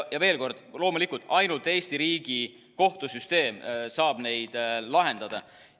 Ja veel kord: loomulikult ainult Eesti riigi kohtusüsteem saab neid lahendada.